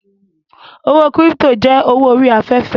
Owó kírípítò jẹ́ owó orí afẹ́fẹ́